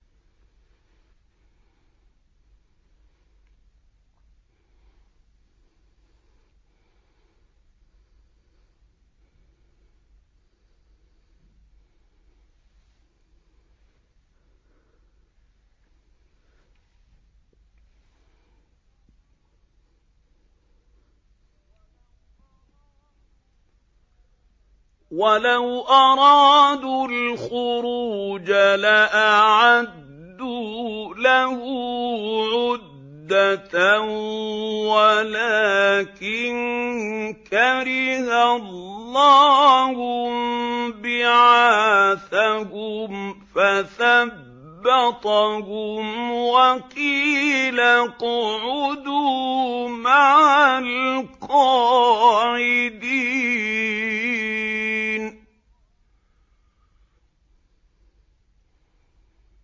۞ وَلَوْ أَرَادُوا الْخُرُوجَ لَأَعَدُّوا لَهُ عُدَّةً وَلَٰكِن كَرِهَ اللَّهُ انبِعَاثَهُمْ فَثَبَّطَهُمْ وَقِيلَ اقْعُدُوا مَعَ الْقَاعِدِينَ